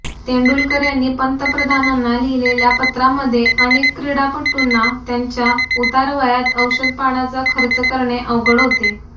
तेंडुलकर यांनी पंतप्रधानांना लिहिलेल्या पत्रामध्ये अऩेक क्रीडापटूंना त्यांच्या उतारवयात औषणपाण्याचा खर्च करणे अवघड होते